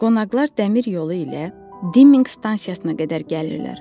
Qonaqlar dəmir yolu ilə Diming stansiyasına qədər gəlirlər.